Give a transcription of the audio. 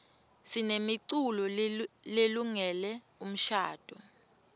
sinemiculo lelungele umshadvo